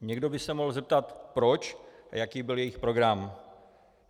Někdo by se mohl zeptat proč a jaký byl jejich program.